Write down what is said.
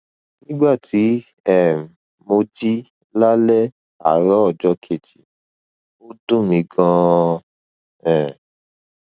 nígbà tí um mo jí lálẹ àárọ ọjọ kejì ó dùn mí ganan um